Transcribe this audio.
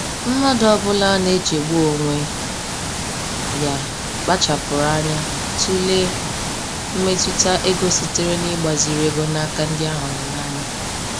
Mmadụ ọbụla na-echegbu onwe ya kpachapụrụ anya tụlee mmetụta ego sitere n'igbaziri ego n'aka ndị a hụrụ n'anya.